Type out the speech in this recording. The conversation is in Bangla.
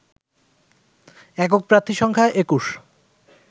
একক প্রার্থী সংখ্যা ২১